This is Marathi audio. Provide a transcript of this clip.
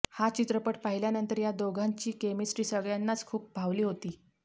हा चित्रपट पाहिल्यानंतर या दोघांची केमिस्ट्री सगळ्यांनाच खूप भावली होती